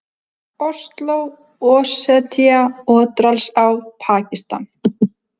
Osló, Ossetía, Otradalsá, Pakistan